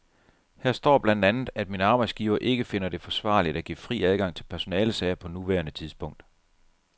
Her står blandt andet, at min arbejdsgiver ikke finder det forsvarligt at give fri adgang til personalesager på nuværende tidspunkt.